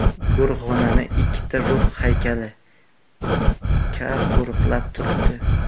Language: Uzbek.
Go‘rxonani ikkita ruh haykali – Ka qo‘riqlab turibdi.